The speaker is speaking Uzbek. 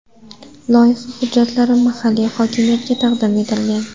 Loyiha hujjatlari mahalliy hokimiyatga taqdim etilgan.